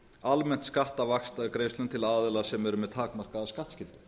almennt skatta af vaxtagreiðslum til aðila sem eru með takmarkaða skattskyldu